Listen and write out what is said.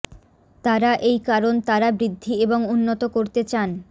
তারা এই কারণ তারা বৃদ্ধি এবং উন্নত করতে চান